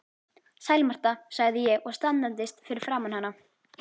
Sæl Marta, sagði ég og staðnæmdist fyrir framan hana.